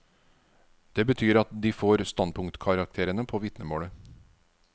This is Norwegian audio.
Det betyr at de får standpunktkarakterene på vitnemålet.